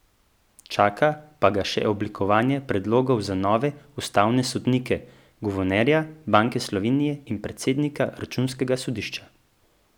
Čaka pa ga še oblikovanje predlogov za nove ustavne sodnike, guvernerja Banke Slovenije in predsednika računskega sodišča.